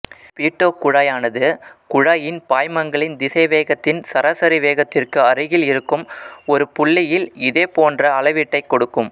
பீட்டோ குழாய் ஆனது குழாயின் பாய்மங்களின் திசைவேகத்தின் சராசரி வேகத்திற்கு அருகில் இருக்கும் ஒரு புள்ளியில் இதேபோன்ற அளவீட்டைக் கொடுக்கும்